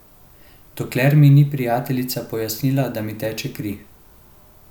Dokler mi ni prijateljica pojasnila, da mi teče kri.